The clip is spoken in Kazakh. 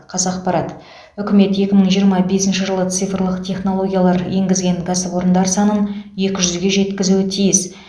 қазақпарат үкімет екі мың жиырма бесінші жылы цифрлық технологиялар енгізген кәсіпорындар санын екі жүзге жеткізуі тиіс